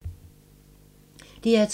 DR2